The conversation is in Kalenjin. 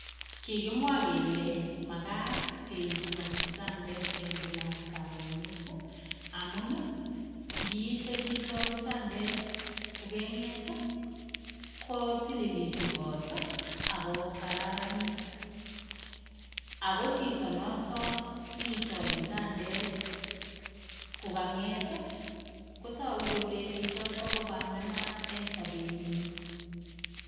Kikimwa kele makat keito kitandet eng kila karonet amun kiite chito kitandet kokeng'et kotililitu kot ako kararanit ako chito noto iitoi kitandet kokang'et kotoku kole chichoto kopanganat eng sobenyii